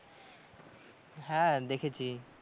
হ্যাঁ দেখেছি।